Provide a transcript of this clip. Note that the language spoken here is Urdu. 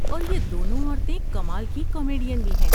اور یہ دنوں عورتیں کمال کی کامیڈین بھی ہیں۔